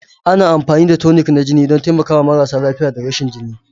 Ana amfani da tonic na jini don taimakawa marasa lafiya da rashin jini.